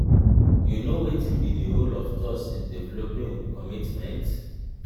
you know wetin be di role of trust in developing commitment?